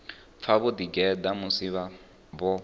pfa vho ḓigeḓa musi vho